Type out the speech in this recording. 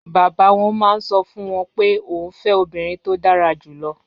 Bàbá wọn máa ń sọ fún wọn pé òun fẹ́ obìnrin tó dára jù lọ.